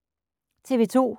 TV 2